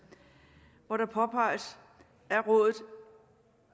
hvor det påpeges …